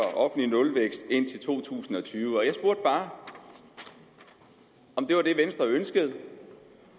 offentlig nulvækst indtil to tusind og tyve jeg spurgte bare om det var det venstre ønskede